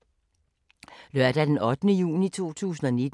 Lørdag d. 8. juni 2019